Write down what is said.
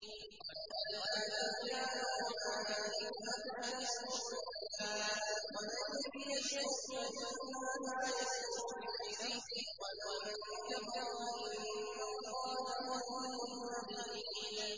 وَلَقَدْ آتَيْنَا لُقْمَانَ الْحِكْمَةَ أَنِ اشْكُرْ لِلَّهِ ۚ وَمَن يَشْكُرْ فَإِنَّمَا يَشْكُرُ لِنَفْسِهِ ۖ وَمَن كَفَرَ فَإِنَّ اللَّهَ غَنِيٌّ حَمِيدٌ